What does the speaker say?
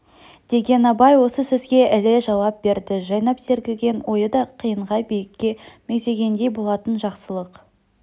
деген абай осы сөзге іле жауап берді жайнап сергіген ойы да қиынға биікке мегзегендей болатын жақсылық